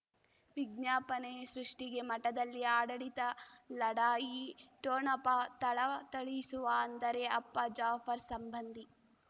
ವಿಜ್ಞಾಪನೆ ಸೃಷ್ಟಿಗೆ ಮಠದಲ್ಲಿ ಆಡಳಿತ ಲಢಾಯಿ ಠೊಣಪ ಥಳಥಳಿಸುವ ಅಂದರೆ ಅಪ್ಪ ಜಾಫರ್ ಸಂಬಂಧಿ